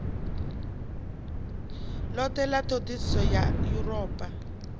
lothe la thodisiso ya europa